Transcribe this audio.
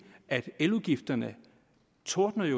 eludgifterne tordner i